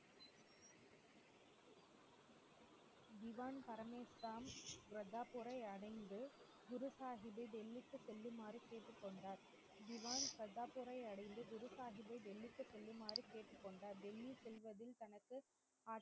mash Ram கர்தார்பூரை அடைந்து குரு சாஹிப்பை டெல்லிக்கு செல்லுமாறு கேட்டுக்கொண்டார், திவான் கர்தார்பூரை அடைந்து குரு சாஹிப்பை டெல்லிக்கு செல்லும்மாறு கேட்டுக்கொண்டார் டெல்லி செல்வதில் தனக்கு